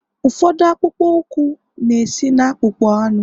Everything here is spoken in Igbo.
ụfọdụ akpụkpọ ụkwụ na-esi na akpụkpọ anụ